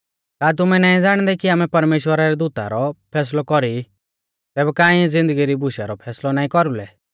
का तुमै नाईं ज़ाणदै कि आमै परमेश्‍वरा रै दूता रौ फैसलौ कौरी तैबै का इऐं ज़िन्दगी री बुशु रौ फैसलौ नाईं कौरुलै